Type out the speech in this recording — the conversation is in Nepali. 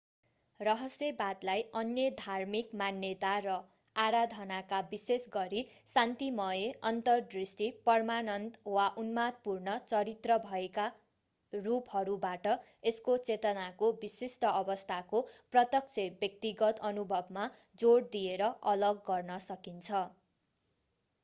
रहस्यवादलाई अन्य धार्मिक मान्यता र आराधनाका विशेषगरी शान्तिमय अन्तरदृष्टि परमानंद वा उन्मादपूर्ण चरित्र भएकारूपहरूबाट यसको चेतनाको विशिष्ट अवस्थाको प्रत्यक्ष व्यक्तिगत अनुभवमा जोड दिएर अलग गर्न सकिन्छ